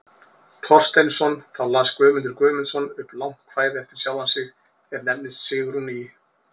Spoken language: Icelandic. Thorsteinsson, þá las Guðmundur Guðmundsson upp langt kvæði eftir sjálfan sig, er nefnist Sigrún í